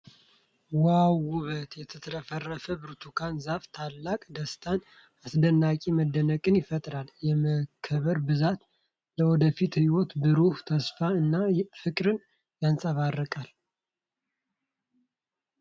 ዋው ውበት! የተትረፈረፈ ብርቱካን ዛፍ ታላቅ ደስታንና አስደናቂ መደነቅን ይፈጥራል። የመከሩ ብዛት ለወደፊት ህይወት ብሩህ ተስፋን እና ፍቅርን ያንጸባርቃል ።